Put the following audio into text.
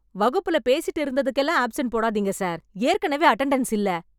வகுப்புல பேசிட்டு இருந்ததுக்கெல்லாம் ஆப்சென்ட் போடாதீங்க சார், ஏற்கனவே அட்டெண்டன்ஸ் இல்ல.